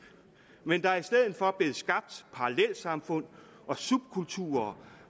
men der er i stedet for blevet skabt parallelsamfund og subkulturer